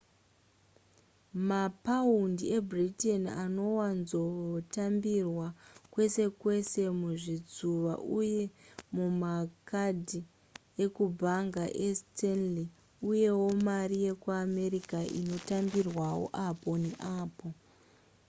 mapaundi ebritain anowanzotambirwa kwese kwese muzvitsuva uye mumakadhi ekubhanga estanley uyewo mari yekuamerica inotambirwawo apo neapo